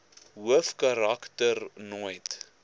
hoofkarak ter nooit